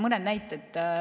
Lihtsalt mõned näited.